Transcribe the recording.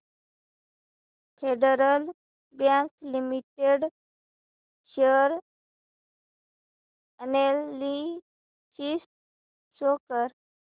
federal Bank Limited share analysis show कर